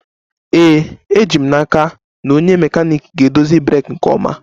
Ee, eji m n'aka na onye mekaniiki ga-edozi breeki nke ọma